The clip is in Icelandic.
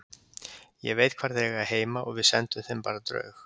Ég veit hvar þeir eiga heima og við sendum þeim bara draug.